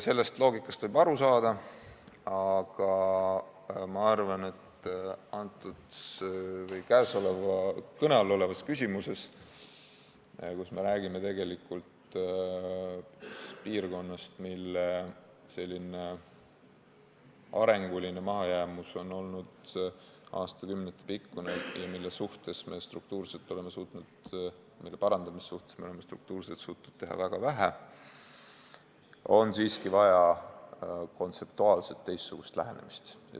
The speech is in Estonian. Sellest loogikast võib aru saada, aga ma arvan, et kõne all olevas küsimuses, kui me räägime piirkonnast, mille arenguline mahajäämus on olnud aastakümnete pikkune ja mille parandamise heaks me oleme struktuurselt suutnud teha väga vähe, on siiski vaja kontseptuaalselt teistsugust lähenemist.